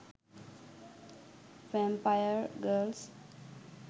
vampire girls